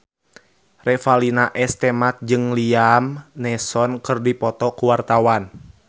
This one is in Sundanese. Revalina S. Temat jeung Liam Neeson keur dipoto ku wartawan